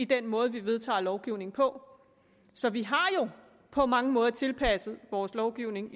den måde vi vedtager lovgivning på så vi har jo på mange måder tilpasset vores lovgivning